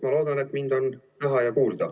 Ma loodan, et mind on näha ja kuulda.